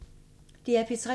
DR P3